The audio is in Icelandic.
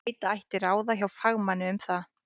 Leita ætti ráða hjá fagmanni um það.